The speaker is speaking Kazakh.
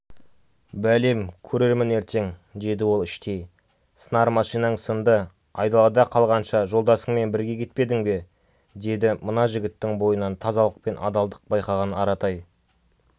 бәлем көрермін ертең деді ол іштей сынар машинаң сынды айдалада қалғанша жолдасыңмен бірге кетпедің бе деді мына жігіттің бойынан тазалық пен адалдық байқаған аратай